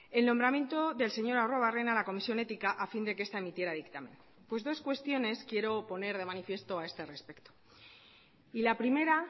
el nombramiento del señor arruebarrena a la comisión ética a fin de que esta emitiera dictamen pues dos cuestiones quiero poner de manifiesto a este respecto y la primera